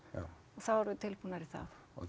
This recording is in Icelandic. og þá erum við tilbúnar í það og